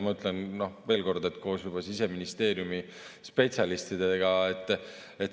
Ma ütlen veel kord, et seda koos Siseministeeriumi spetsialistidega.